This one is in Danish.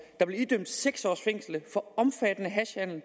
er blevet idømt seks års fængsel for omfattende hashhandel